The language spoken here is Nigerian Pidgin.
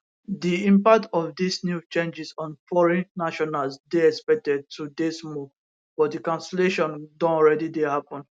di impact of dis new changes on foreign nationals dey expected to dey small but di cancellation don alreadi dey happun